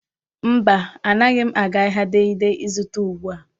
Mba, anaghị m aga ahịa Dei Dei ịzụta ugbua.